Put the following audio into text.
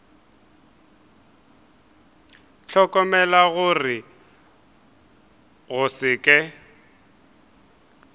hlokomela gore go se ke